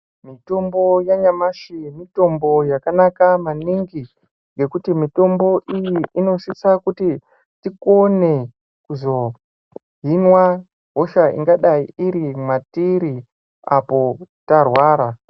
Mitombo yanyamashi mitombo yakanaka maningi. Ngekuti mitombo iyi inosisa kuti tikone kuzohinwa hosha ingadai iri matiri apo tarwara.